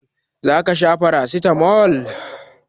Za ka sha paracetamol?